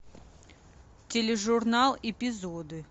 тележурнал эпизоды